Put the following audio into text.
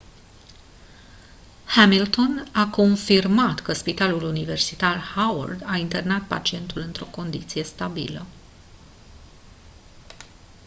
hamilton a confirmat că spitalul universitar howard a internat pacientul într-o condiție stabilă